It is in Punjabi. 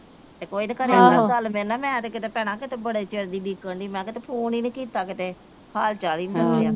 ਤੇ ਕੋਈ ਤੇ ਗੱਲ ਮੇਰੇ ਨਾ ਮੈ ਤੇ ਕਿਤੇ ਭੈਣਾਂ ਬੜੇ ਚਿਰ ਦੀ ਉਡੀਕਣ ਦੀ ਮੈ ਕਿਹਾ ਕਿਤੇ ਫੋਨ ਈ ਨਹੀਂ ਕੀਤਾ ਕਿਤੇ ਹਾਲ ਚਾਲ ਈ ਨਹੀਂ ਪੁੱਛਿਆ